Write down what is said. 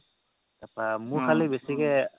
তাৰ পা মোৰ খলি বেচিকে